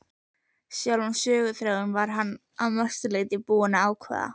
Sjálfan söguþráðinn var hann að mestu leyti búinn að ákveða.